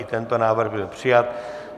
I tento návrh byl přijat.